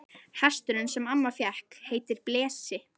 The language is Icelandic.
Hesturinn sem amma fékk heitir Blesi.